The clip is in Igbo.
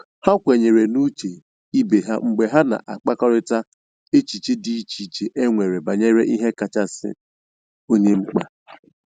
Ha kwenyere n' uche ibe ha mgbe ha na a kparịkọta echiche dị iche iche e e nwere banyere ihe kasị onye mkpa